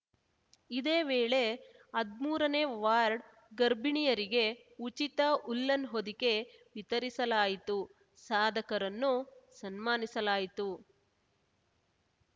ಇದೇ ವೇಳೆ ಹದ್ಮೂರನೇ ವಾರ್ಡ್ ಗರ್ಭಿಣಿಯರಿಗೆ ಉಚಿತ ಉಲ್ಲನ್‌ ಹೊದಿಕೆ ವಿತರಿಸಲಾಯಿತು ಸಾಧಕರನ್ನು ಸನ್ಮಾನಿಸಲಾಯಿತು